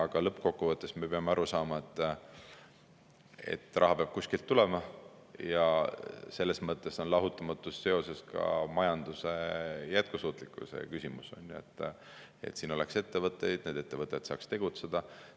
Aga lõppkokkuvõttes me peame aru saama, et raha peab kuskilt tulema, ja selles mõttes on sellega lahutamatult seotud ka majanduse jätkusuutlikkuse küsimus: et siin oleks ettevõtteid ja need ettevõtted saaks tegutseda.